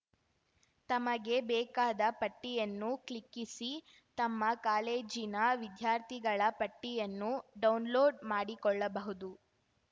ತಮಗೆ ಬೇಕಾದ ಪಟ್ಟಿಯನ್ನು ಕ್ಲಿಕ್ಕಿಸಿ ತಮ್ಮ ಕಾಲೇಜಿನ ವಿದ್ಯಾರ್ಥಿಗಳ ಪಟ್ಟಿಯನ್ನು ಡೌನ್‌ಲೋಡ್‌ ಮಾಡಿಕೊಳ್ಳಬಹುದು